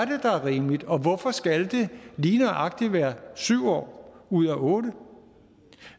rimeligt og hvorfor skal det lige nøjagtig være syv år ud af otte år